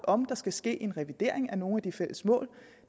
om der skal ske en regulering af nogle af de fælles mål